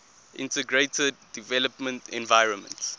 integrated development environment